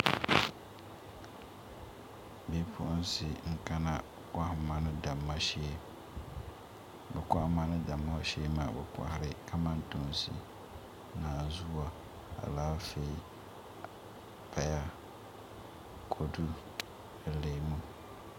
Bipuɣunsi n kana kohamma ni damma shee bi kohamma ni damma shee maa bi kohari kamantoosi naanzuwa Alaafee paya kodu ni leemu